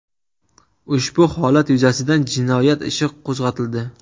Ushbu holat yuzasidan jinoyat ishi qo‘zg‘atildi.